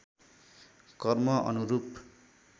कर्म अनुरूप